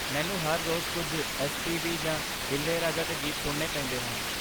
ਮੈਨੂੰ ਹਰ ਰੋਜ਼ ਕੁਝ ਐਸ ਪੀ ਬੀ ਜਾਂ ਇਲਯਾਰਾਜਾ ਦੇ ਗੀਤ ਸੁਣਨੇ ਪੈਂਦੇ ਹਨ।